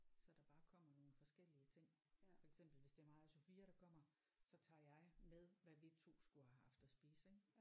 Så der bare kommer nogle forskellige ting for eksempel hvis det er mig og Sofia der kommer så tager jeg med hvad vi 2 skulle have haft at spise ik